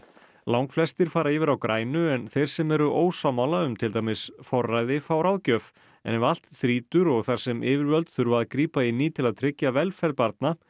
langflestir fara yfir á grænu en þeir sem eru ósammála um til dæmis forræði fá ráðgjöf en ef allt þrýtur og þar sem yfirvöld þurfa að grípa inn í til að tryggja velferð barna